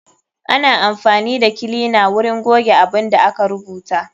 Ana amfani da kilina na wurin goge abun da aka rubuta.